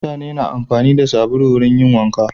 Mutane na amfani da sabulu wurin yin wanka.